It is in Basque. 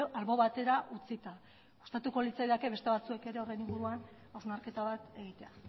albo batera utzita gustatuko litzaidake beste batzuek ere horren inguruan hausnarketa bat egitea